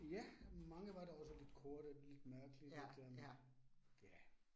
Ja, mange var da også lidt korte lidt mærkelige, lidt øh ja